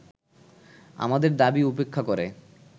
আমাদের দাবী উপেক্ষা করে